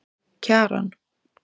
Kjaran